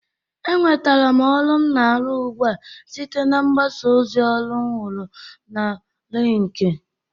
Enwetere m ọrụ m na-arụ ugbu a site na mgbasa ozi ọrụ m huru n'Linkin